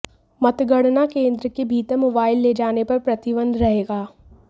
मतगणना केंद्र के भीतर मोबाइल ले जाने पर प्रतिबंध रहेगा